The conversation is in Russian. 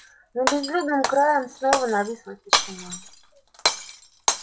над безлюдным краем снова нависла тишина